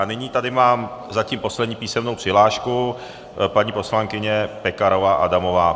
A nyní tady mám zatím poslední písemnou přihlášku - paní poslankyně Pekarová Adamová.